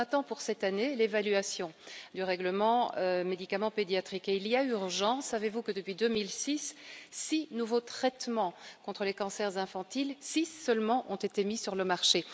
On attend donc pour cette année l'évaluation du règlement sur les médicaments pédiatriques, et il y a urgence. Savez vous que, depuis 2006, seulement six nouveaux traitements contre les cancers infantiles ont été mis sur le marché.